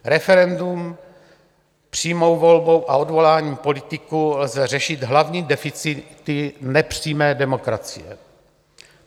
Referendem, přímou volbou a odvoláním politiků lze řešit hlavní deficity nepřímé demokracie.